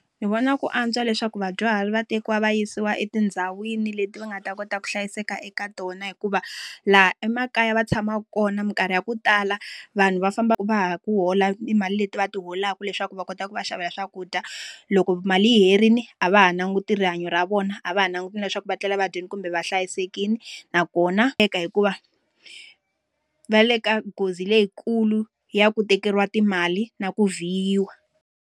Ndzi vona ku antswa leswaku vadyuhari va tekiwa va yisiwa etindhawini leti va nga ta kota ku hlayiseka eka tona hikuva, laha emakaya va tshama kona minkarhi ya ku tala vanhu va famba ku hola mali leti va ti holaka leswaku va kota ku va xavela swakudya. Loko mali yi herile a va ha languti rihanyo ra vona, a va ha languti leswaku va tlela va dyile kumbe va hlayisekile. Nakona hikuva, va le ka nghozi leyikulu ya ku tekeriwa timali na ku vhiyiwa.